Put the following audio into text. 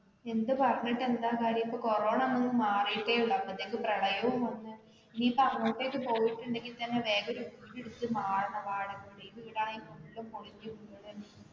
എന്ത് പറഞ്ഞിട്ട് എന്താ കാര്യം corona വന്ന മാറിട്ടെ ഉള്ളൂ അപ്പോത്തേക്കും പ്രളയവും വന്നു ഇനി ഇപ്പോൾ അങ്ങോട്ടേക്ക് പോയിട്ട് ഉണ്ടേൽ തന്നെ വേറെ വീട് എടുത്ത് മാറണം. വാടകവീട് ഈ വീട് ആണേൽ full പൊളിഞ്ഞു പോകയാണ്.